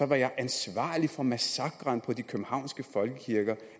være ansvarlig for massakren på de københavnske folkekirker